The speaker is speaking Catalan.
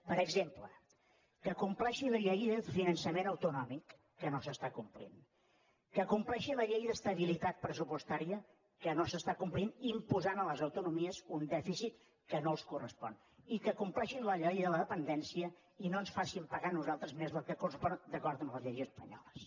per exemple que compleixi la llei de finançament autonòmic que no s’està complint que compleixi la llei d’estabilitat pressupostària que no s’està complint i s’imposa a les autonomies un dèficit que no els correspon i que compleixin la llei de la dependència i no ens facin pagar a nosaltres més del que correspon d’acord amb les lleis espanyoles